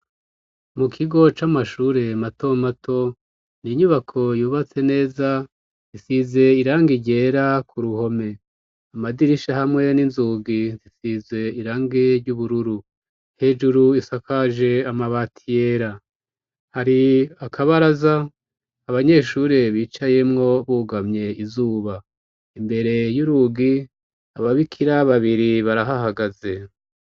Mu kigo c'amashure mato mato ninyubako yubatse neza isize irangi ryera ku ruhome amadirisha hamwe n'inzugi nsisize irangi ry'ubururu hejuru isakaje amabati yera, hari akabaraza abanyeshure bicayemwo bugamye izuba imbere y'urugi ababikira babiri barahahagaze.